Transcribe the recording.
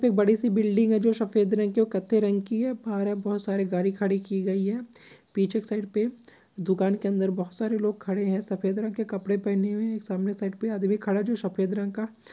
एक बड़ी सी बिल्डिंग है जो सफेद रंग की और कत्थई रंग की है बहार बहोत सारी गाड़ी खड़ी की गई है पीछे की साइड पे दुकान के अंदर बहुत सारे लोग खड़े हैं सफेद रंग के कपड़े पहने हुए हैं सामने साइड पे आदमी खड़ा है जो सफेद रंग का --